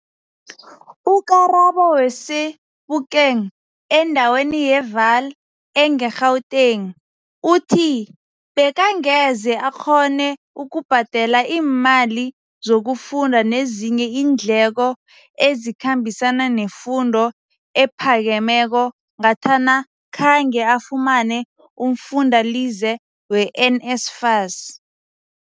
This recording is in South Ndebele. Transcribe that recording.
U-Karabo we-Sebokeng endaweni ye-Vaal engeGauteng uthi bekangeze akghone ukubhadela iimali zokufunda nezinye iindleko ezikhambisana nefundo ephakemeko ngathana khange afumane umfundalize we-NSFAS.